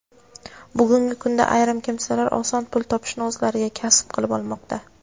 Bugungi kunda ayrim kimsalar oson pul topishni o‘zlariga kasb qilib olmoqda.